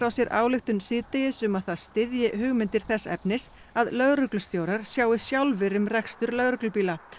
sér ályktun síðdegis um að það styðji hugmyndir þess efnis að lögreglustjórar sjái sjálfir um rekstur lögreglubíla